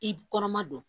I kɔnɔma don